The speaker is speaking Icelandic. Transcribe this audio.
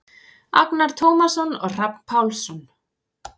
Agnar Tómasson og Hrafn Pálsson.